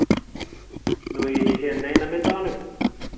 Nú hef ég ekki séð neina mynd af honum.